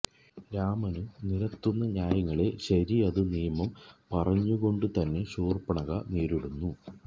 രാമന് നിരത്തുന്ന ന്യായങ്ങളെ ശരിഅത്തു നിയമം പറഞ്ഞുകൊണ്ടു തന്നെ ശൂര്പ്പണഖ നേരിടുന്നു